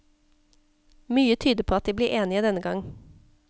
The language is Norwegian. Mye tyder på at de blir enige denne gang.